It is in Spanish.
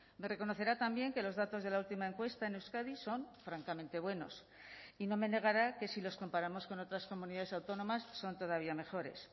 me reconocerá también que los datos de la última encuesta en euskadi son francamente buenos y no me negará que si los comparamos con otras comunidades autónomas son todavía mejores